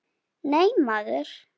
Nei, maður!